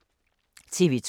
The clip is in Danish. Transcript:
TV 2